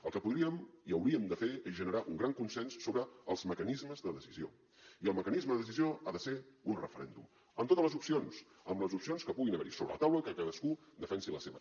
el que podríem i hauríem de fer és generar un gran consens sobre els mecanismes de decisió i el mecanisme de decisió ha de ser un referèndum amb totes les opcions amb les opcions que puguin haver hi sobre la taula que cadascú defensi la seva